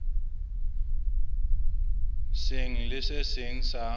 seng le se seng sa